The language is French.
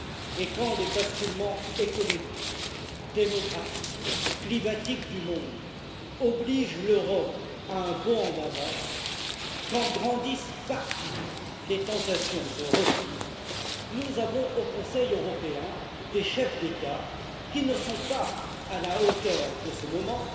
Et quand les basculements économiques, démographiques, climatiques du monde obligent l'Europe à un bond en avant, quand grandissent partout les tentations de repli, nous avons au Conseil européen des chefs d'État qui ne sont pas à la hauteur de ce moment